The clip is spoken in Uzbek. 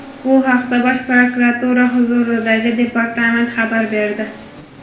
Bu haqda Bosh prokuratura huzuridagi departament xabar berdi.